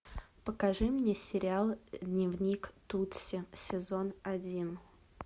покажи мне сериал дневник тутси сезон один